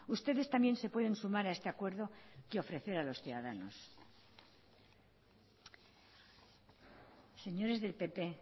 ustedes también se pueden sumar a este acuerdo que ofrecer a los ciudadanos señores del pp